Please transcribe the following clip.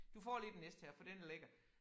Du får lige den næste her for den er lækker